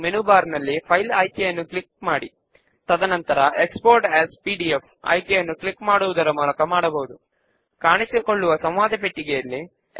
members who need to return books అనే descriptive name ను మన ఫామ్ కు ఇద్దాము